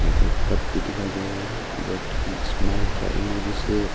एक कप भी दिखाई दे रहा है जो स्माइल का इमोजी से--